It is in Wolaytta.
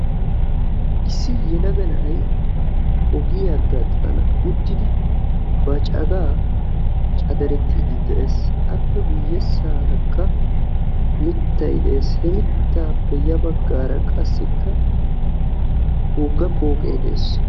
Issi yelagga na"ay ogiyaa gaxxan uttidi ba cagaa caderettidi de'ees, appe guyessarakka mittay de'ees. He mittappe ya baggara qassikka wogga pooqqe de'ees.